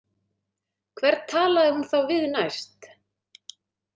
Hvern talaði hún þá við næst?